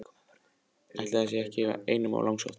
Ætli það sé nú ekki einum of langsótt!